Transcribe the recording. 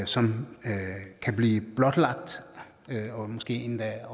som kan blive blotlagt og måske endda